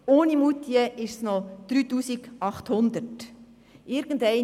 Ohne Moutier sind es noch 3800.